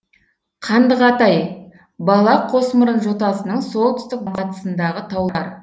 қандығатай бала қосмұрын жотасының солтүстік батысындағы таулар